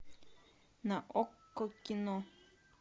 на окко кино